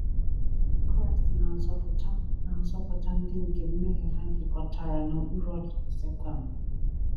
Kraịst na-azọpụta na-azọpụta ndị nke mmehie ha jikọtara n’okpuru ọchịchị Satani.